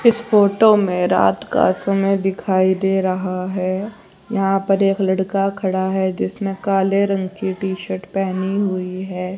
इस फोटो में रात का समय दिखाई दे रहा है यहां पर एक लड़का खड़ा है जिसने काले रंग की टी शर्ट पहनी हुई है।